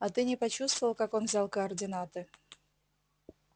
а ты не почувствовал как он взял координаты